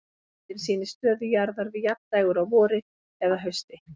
Myndin sýnir stöðu jarðar við jafndægur á vori eða hausti.